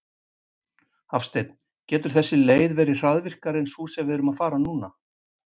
Hafsteinn: Getur þessi leið verið hraðvirkari en sú sem við erum að fara núna?